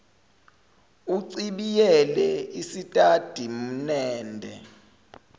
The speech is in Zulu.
uchibiyele isitati mende